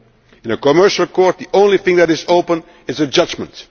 court. In a commercial court the only thing that is open